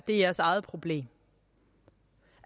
det er jeres eget problem